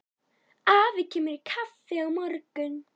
Afi kemur í kaffi á morgun.